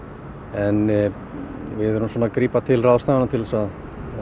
en við erum að grípa til ráðstafana til að